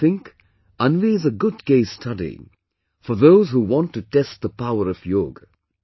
I think Anvi is a good case study, for those who want to test the power of yoga